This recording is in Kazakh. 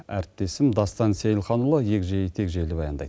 әріптесім дастан сейілханұлы екжей текжейлі баяндайды